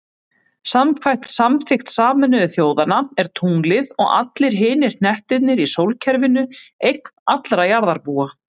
Samkvæmt samþykkt Sameinuðu þjóðanna er tunglið, og allir hinir hnettirnir í sólkerfinu, eign allra jarðarbúa.